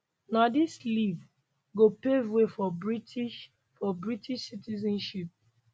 na dis leave go pave way for british for british citizenship